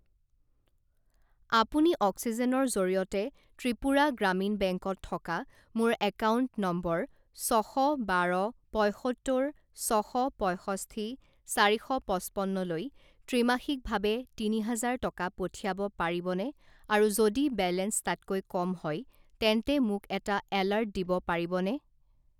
আপুনি অক্সিজেনৰ জৰিয়তে ত্ৰিপুৰা গ্ৰামীণ বেংকত থকা মোৰ একাউণ্ট নম্বৰ ছশ বাৰ পঁইসত্তৰ ছশ পঁইষষ্ঠি চাৰি শ পঁচপন্নলৈ ত্ৰিমাসিকভাৱে তিনি হাজাৰ টকা পঠিয়াব পাৰিবনে আৰু যদি বেলেঞ্চ তাতকৈ কম হয় তেন্তে মোক এটা এলাৰ্ট দিব পাৰিবনে?